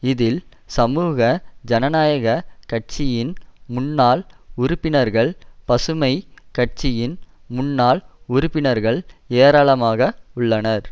இதில் சமூக ஜனநாயக கட்சியின் முன்னாள் உறுப்பினர்கள் பசுமை கட்சியின் முன்னாள் உறுப்பினர்கள் ஏராளமாக உள்ளனர்